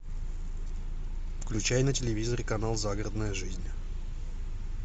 включай на телевизоре канал загородная жизнь